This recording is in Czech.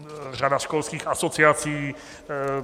Řada školských asociací.